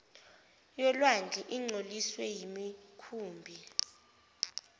yolwandle ingcoliswe yimikhumbi